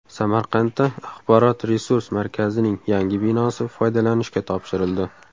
Samarqandda axborot-resurs markazining yangi binosi foydalanishga topshirildi.